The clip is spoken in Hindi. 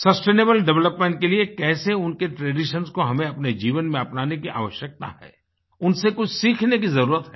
सस्टेनेबल डेवलपमेंट के लिए कैसे उनके traditionsको हमें अपने जीवन में अपनाने की आवश्यकता हैउनसे कुछ सीखने की जरुरत है